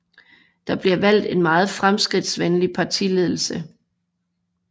Der bliver valgt en meget fremskridtsvenlig partiledelse